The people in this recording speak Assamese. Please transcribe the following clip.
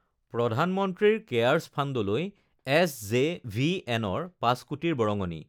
প্ৰধানমন্ত্ৰীৰ কেয়াৰছ ফাণ্ডলৈ এছজেভিএনৰ ৫কোটিৰ বৰঙণি